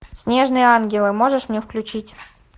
снежные ангелы можешь мне включить